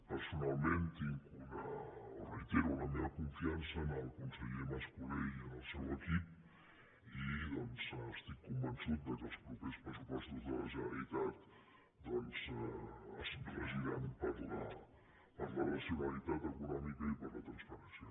personalment tinc o reitero la meva confiança en el conseller mas colell i en el seu equip i doncs estic convençut que els propers pressupostos de la generalitat es regiran per la racionalitat econòmica i per la transparència